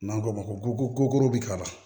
N'an ko ma ko bi kaba